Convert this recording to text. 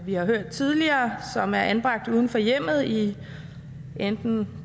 vi har hørt tidligere er anbragt uden for hjemmet i enten